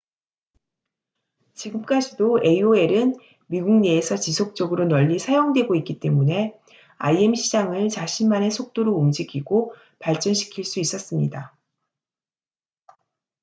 지금까지도 aol은 미국 내에서 지속적으로 널리 사용되고 있기 때문에 im 시장을 자신만의 속도로 움직이고 발전시킬 수 있었습니다